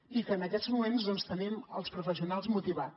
i en aquests moments tenim els professionals motivats